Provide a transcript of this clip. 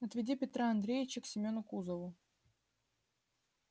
отведи петра андреича к семёну кузову